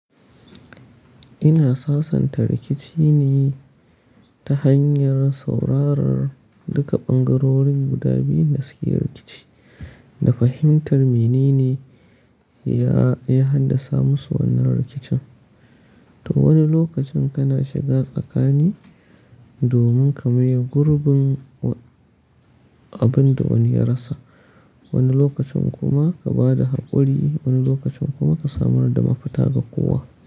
Ina sasanta rikici ne Ta hanyar saurarar duka bangarorin guda biyu masu yin rikici da fahimtar menene ya, ya haddasa musu wannan rikicin. To wani lokacin kana shiga tsakani domin ka maye gurbin wa- abin da wani ya rasa, wani lokacin kuma ka ba da haƙuri, wani lokacin kuma ka samar da mafita ga kowa.